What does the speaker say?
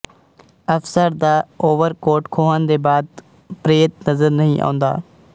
ਅਫਸਰ ਦਾ ਓਵਰਕੋਟ ਖੋਹਣ ਦੇ ਬਾਅਦ ਪ੍ਰੇਤ ਨਜ਼ਰ ਨਹੀਂ ਆਉਂਦਾ